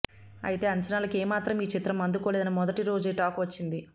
అయితే అంచనాలకు ఏమాత్రం ఈ చిత్రం అందుకోలేదని మొదటి రోజే టాక్ వచ్చింది